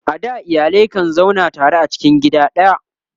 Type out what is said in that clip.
a da iyalai kan zauna tare a cikin gida daya